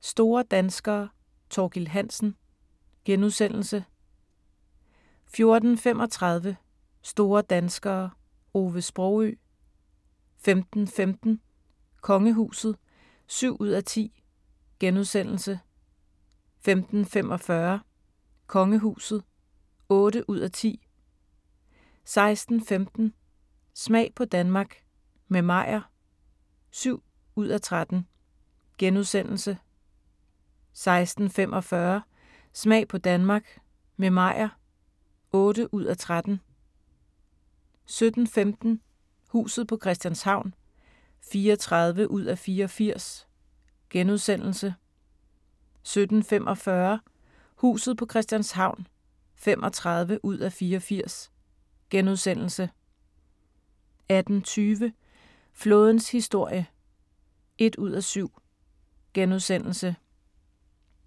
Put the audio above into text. Store danskere – Thorkild Hansen * 14:35: Store danskere - Ove Sprogøe 15:15: Kongehuset (7:10)* 15:45: Kongehuset (8:10) 16:15: Smag på Danmark – med Meyer (7:13)* 16:45: Smag på Danmark – med Meyer (8:13) 17:15: Huset på Christianshavn (34:84)* 17:45: Huset på Christianshavn (35:84)* 18:20: Flådens historie (1:7)*